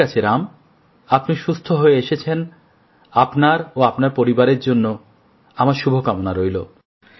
ঠিক আছে রাম আপনি সুস্থ হয়ে এসেছেন আপনাকে ও আপনার পরিবারকে আমার শুভ কামনা রইল